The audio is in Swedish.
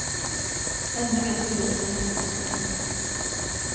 Ännu vet polisen inte vad som hänt.